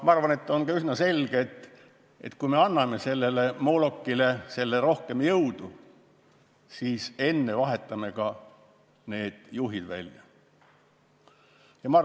Ma arvan, et on üsna selge, et enne, kui anname sellele moolokile rohkem jõudu, tuleb need juhid välja vahetada.